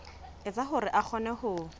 etsa hore a kgone ho